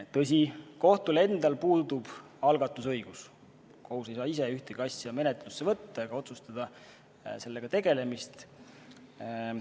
Tõsi, kohtul endal puudub algatusõigus, kohus ei saa ise ühtegi asja menetlusse võtta ega otsustada sellega tegelemise üle.